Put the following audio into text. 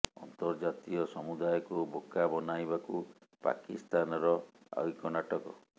ଅନ୍ତର୍ଜାତୀୟ ସମୁଦାୟକୁ ବୋକା ବନାଇବାକୁ ପାକିସ୍ତାନର ଆଉ ଏକ ନାଟକ